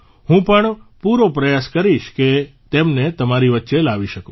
હું પણ પૂરો પ્રયાસ કરીશ કે તેમને તમારી વચ્ચે લાવી શકું